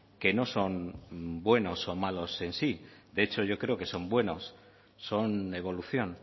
que no son buenos o malos en sí de hecho yo creo que son buenos son evolución